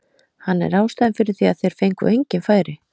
Hann er ástæðan fyrir því að þeir fengu engin færi.